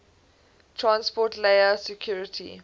transport layer security